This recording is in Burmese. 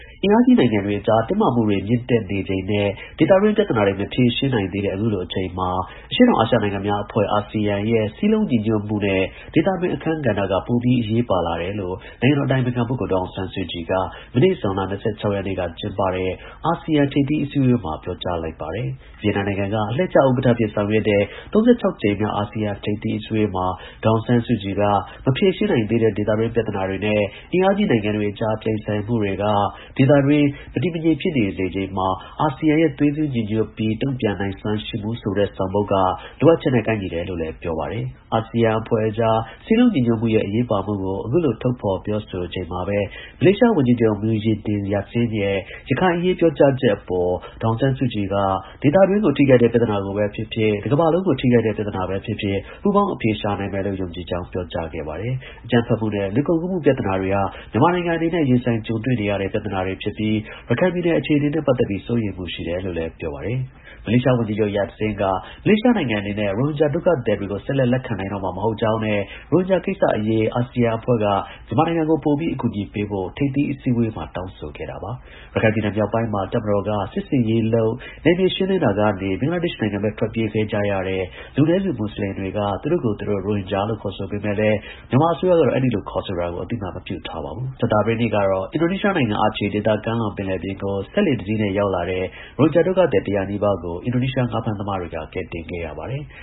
အင်အားကြီး နိုင်ငံတွေအကြား တင်းမာမှုတွေ မြင့်တက်နေချိန်နဲ့ ဒေသတွင်း ပြဿနာတွေ မဖြေရှင်းနိုင်သေးတဲ့ အခုလို အချိန်မှာ အရှေ့တောင်အာရှနိုင်ငံများအဖွဲ့(အာဆီယံ)ရဲ့ စည်းလုံးညီညွတ်မှုနဲ့ ဒေသတွင်း အခန်းကဏ္ဍက ပိုပြီး အရေးကြီးလာတယ်လို့ နိုင်ငံတော် အတိုင်ပင်ခံပုဂ္ဂိုလ် ဒေါ်အောင်ဆန်းစုကြည်က မနေ့ ဇွန်လ ၂၆ ရက်နေ့က ကျင်းပတဲ့ အာဆီယံ ထိပ်သီးအစည်းအဝေးမှာ ပြောကြားလိုက်ပါတယ်။ ဗီယက်နမ်နိုင်ငံက အလှည့်ကျ ဥက္ကဌအဖြစ် ဆောင်ရွက်တဲ့ (၃၆) ကြိမ်မြောက် အာဆီယံ ထိပ်သီးအစည်းအဝေးမှာ ဒေါ်အောင်ဆန်းစုကြည်က မဖြေရှင်းနိုင်သေးတဲ့ ဒေသတွင်း ပြဿနာတွေနဲ့ အင်အားကြီး နိုင်ငံတွေအကြား ပြိုင်ဆိုင်မှုတွေက ဒေသအတွင်း မတည်မငြိမ် ဖြစ်စေချိန်မှာ အာဆီယံရဲ့ သွေးစည်း ညီညွတ်ပြီး တုံ့ပြန်နိုင်စွမ်းရှိမှုဆိုတဲ့ ဆောင်ပုဒ်က လိုအပ်ချက်နဲ့ ကိုက်ညီလာတယ်လို့ လည်း ပြောပါတယ်။ အာဆီယံအဖွဲ့အကြား စည်းလုံးညီညွတ်မှုရဲ့ အရေးပါမှုကို အခုလို ထုတ်ဖော် ပြောဆိုချိန်မှာပဲ မလေးရှား ဝန်ကြီးချုပ် Muhyiddin Yassin ရဲ့ ရခိုင်အရေးပြောကြားချက်အပေါ် ဒေါ်အောင်ဆန်းစုကြည်က ဒေသတွင်းကို ထိခိုက်တဲ့ ပြဿနာ ကိုပဲ ဖြစ်ဖြစ်၊ တကမ္ဘာလုံးကို ထိခိုက်တဲ့ ပြဿနာပဲ ဖြစ်ဖြစ် ပူးပေါင်း အဖြေရှာနိုင်မယ်လို့ ယုံကြည်ကြောင်း ပြောကြားခဲ့ပါတယ်။ အကြမ်းဖက်မှုနဲ့ လူကုန်ကူးမှု ပြဿနာတွေ ဟာ မြန်မာနိုင်ငံအနေနဲ့ ရင်ဆိုင် ကြုံတွေ့နေရတဲ့ အန္တရာယ်တွေဖြစ်ပြီး ရခိုင်ပြည်နယ်အခြေအနေနဲ့ ပတ်သက်ပြီး စိုးရိမ်မှုရှိတယ် လို့လည်း ပြောပါတယ်။ မလေးရှားဝန်ကြီးချုပ် Muhyiddin Yassin က မလေးရှားနိုင်ငံ အနေနဲ့ ရိုဟင်ဂျာ ဒုက္ခသည်တွေကို ဆက်လက် လက်ခံနိုင်တော့မှာ မဟုတ်ကြောင်းနဲ့ ရိုဟင်ဂျာကိစ္စ အရေး အာဆီယံအဖွဲ့က မြန်မာနိုင်ငံကို ပိုပြီး အကူအညီပေးဖို့ ထိပ်သီး အစည်းအဝေးမှာ တောင်းဆို ခဲ့တာပါ။ ရခိုင်ပြည်နယ်မြောက်ပိုင်းမှာ တပ်မတော်က စစ်ဆင်ရေးလုပ် နယ်မြေရှင်းလင်းတာကနေ ဘင်္ဂလားဒေ့ရှ်နိုင်ငံဘက် ထွက်ပြေးသွား ကြတဲ့ လူနည်းစုမွတ်ဆလင်တွေက သူတို့ကိုယ်သူတို့ ရိုဟင်ဂျာလို့ ခေါ်ဆိုကြပေမဲ့လည်း မြန်မာအစိုးရကတော့ အဲဒီလိုခေါ်ဆိုတာကို အသိအမှတ် မပြုထားပါဘူး။ ကြာသပတေးနေ့ကတော့ အင်ဒိုနီးရှားနိုင်ငံ Aceh ဒေသကမ်းလွန်ပင်လယ်ပြင်ကို စက်လှေတစီးနဲ့ ရောက်တာတဲ့ ရိုဟင်ဂျာ ဒုက္ခသည် ၁၀၀ နီးပါးကို အင်ဒိုနီးရှား ငါးဖမ်းသမားတွေက ကယ်ဆယ်ခဲ့ရပါတယ်။